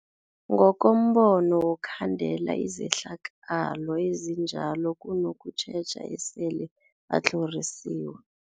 Ngokombono wokukhandela izehlakalo ezinjalo kunokutjheja esele batlhorisiwe.